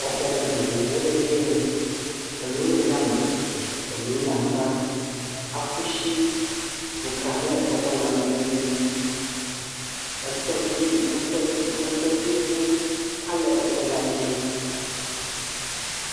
Exɔ vovovowo le geɛ. Elo le ame. Elo le nyigba. Aƒushi ƒo ʋlã ne exɔlawo be nti. Etɔ dzi, etɔ dzi, etɔ dziŋu hã le etɔla dzi.